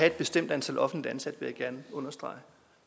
et bestemt antal offentligt ansatte det jeg gerne understrege